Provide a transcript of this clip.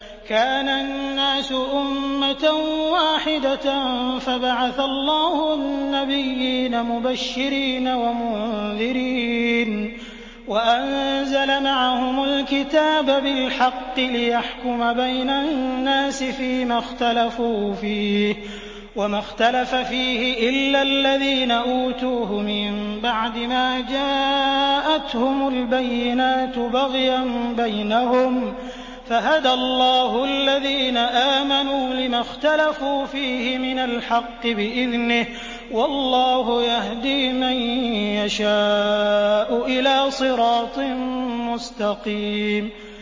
كَانَ النَّاسُ أُمَّةً وَاحِدَةً فَبَعَثَ اللَّهُ النَّبِيِّينَ مُبَشِّرِينَ وَمُنذِرِينَ وَأَنزَلَ مَعَهُمُ الْكِتَابَ بِالْحَقِّ لِيَحْكُمَ بَيْنَ النَّاسِ فِيمَا اخْتَلَفُوا فِيهِ ۚ وَمَا اخْتَلَفَ فِيهِ إِلَّا الَّذِينَ أُوتُوهُ مِن بَعْدِ مَا جَاءَتْهُمُ الْبَيِّنَاتُ بَغْيًا بَيْنَهُمْ ۖ فَهَدَى اللَّهُ الَّذِينَ آمَنُوا لِمَا اخْتَلَفُوا فِيهِ مِنَ الْحَقِّ بِإِذْنِهِ ۗ وَاللَّهُ يَهْدِي مَن يَشَاءُ إِلَىٰ صِرَاطٍ مُّسْتَقِيمٍ